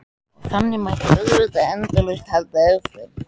Og þannig mætti auðvitað endalaust halda áfram.